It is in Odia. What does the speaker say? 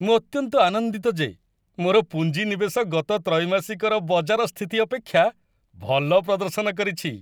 ମୁଁ ଅତ୍ୟନ୍ତ ଆନନ୍ଦିତ ଯେ ମୋର ପୁଞ୍ଜି ନିବେଶ ଗତ ତ୍ରୈମାସିକର ବଜାର ସ୍ଥିତି ଅପେକ୍ଷା ଭଲ ପ୍ରଦର୍ଶନ କରିଛି।